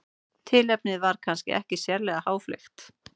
Tilefnið var kannski ekki sérlega háfleygt.